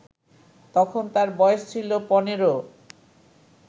তখন তার বয়স ছিল ১৫